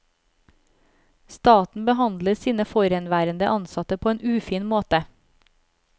Staten behandler sine forhenværende ansatte på en ufin måte.